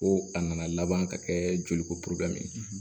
Ko a nana laban ka kɛ joli ko